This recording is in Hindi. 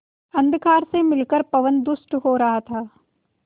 अंधकार से मिलकर पवन दुष्ट हो रहा था